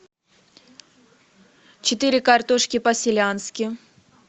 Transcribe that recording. четыре картошки по селянски